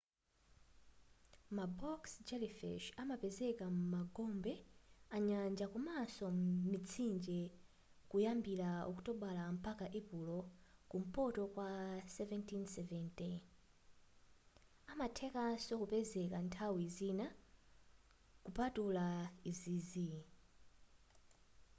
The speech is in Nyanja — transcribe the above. ma box jellyfish amapezeka m'magombe anyanja komanso mitsinje kuyambila okutobala mpaka epulo kumpoto kwa 1770 amathekanso kupezeka nthawi zina kupatula izizi